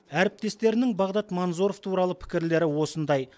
әріптестерінің бағдат манзоров туралы пікірлері осындай